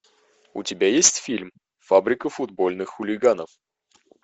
у тебя есть фильм фабрика футбольных хулиганов